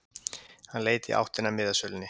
Hann leit í áttina að miðasölunni.